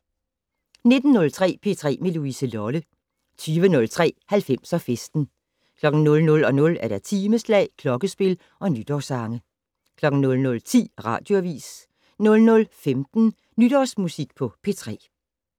19:03: P3 med Louise Lolle 20:03: 90'er Festen 00:00: Timeslag, klokkespil og nytårssange 00:10: Radioavis 00:15: Nytårsmusik på P3